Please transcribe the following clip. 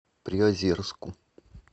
приозерску